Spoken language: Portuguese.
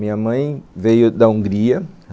Minha mãe veio da Hungria.